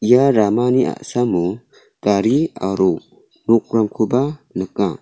ia ramani a·samo gari aro rokrangkoba nika.